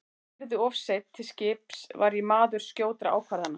Þótt ég yrði of seinn til skips var ég maður skjótra ákvarðana.